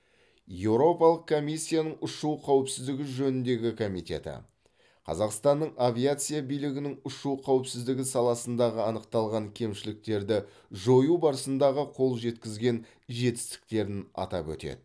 еуропалық комиссияның ұшу қауіпсіздігі жөніндегі комитеті қазақстанның авиация билігінің ұшу қауіпсіздігі саласындағы анықталған кемшіліктерді жою барысындағы қол жеткізген жетістіктерін атап өтеді